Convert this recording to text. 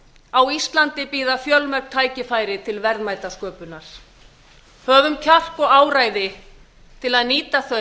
á íslandi bíða fjölmörg tækifæri til verðmætasköpunar höfum kjark og áræði til að nýta